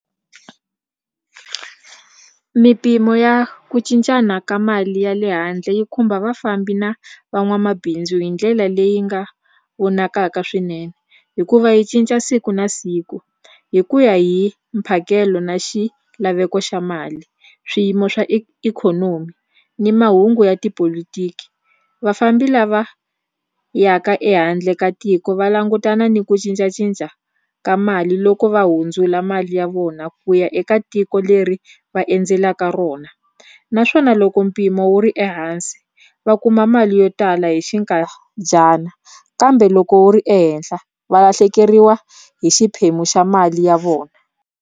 Mimpimo ya ku cincana ka mali ya le handle yi khumba vafambi na van'wamabindzu hi ndlela leyi nga vonakaka swinene hikuva yi cinca siku na siku hi ku ya hi mphakelo na xilaveko xa mali swiyimo swa ikhonomi ni mahungu ya tipolotiki vafambi lava yaka ehandle ka tiko va langutana ni ku cincacinca ka mali loko va hundzula mali ya vona ku ya eka tiko leri va endzelaka rona naswona loko mpimo wu ri ehansi va kuma mali yo tala hi xinkadyana kambe loko wu ri ehenhla va lahlekeriwa hi xiphemu xa mali ya vona.